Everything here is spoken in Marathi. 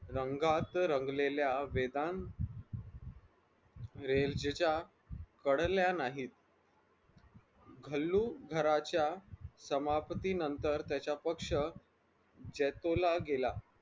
युद्धाच्या रंगात रंगलेल्या वेदांत रेंजच्या पडल्या नाहीत डल्लू घराच्या समाप्तीनंतर त्याचा पक्ष जैतोला गेला.